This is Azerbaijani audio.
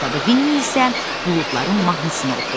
Vinni isə buludların mahnısını oxudu.